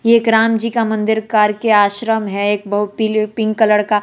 एक राम जी का मंदिर करके आश्रम है एक पिंक कलर का--